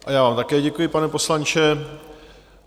A já vám také děkuji, pane poslanče.